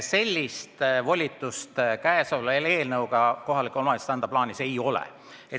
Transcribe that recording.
Sellist volitust käesoleva eelnõu kohaselt kohalikule omavalitsusele anda plaanis ei ole.